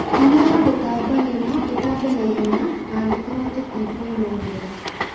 Mĩrimũ ya gũtambanio no ĩtambe naihenya angĩkorwo tũtikwĩmenyerera